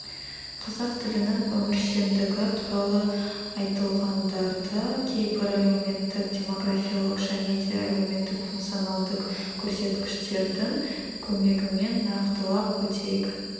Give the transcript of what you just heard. қазақ тілінің өміршеңдігі туралы айтылғандарды кейбір әлеуметтік демографиялық және де әлеуметтік-функционалдық көрсеткіштердің көмегімен нақтылап өтейік